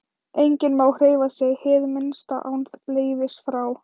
Enginn má hreyfa sig hið minnsta án leyfis frá